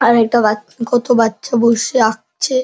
আর একটা বাচ কত বাচ্চা বসে আছে আঁকছে।